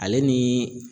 Ale ni